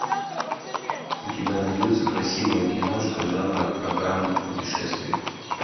у тебя найдется красивая киношка жанра программа о путешествиях